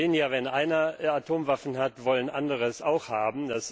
Wir sehen ja, wenn einer Atomwaffen hat, wollen andere sie auch haben.